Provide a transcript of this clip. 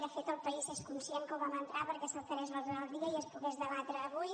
de fet el país és conscient que ho vam entrar perquè s’alterés l’ordre del dia i es pogués debatre avui